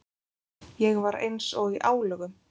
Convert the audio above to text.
Ég var eins og í álögum!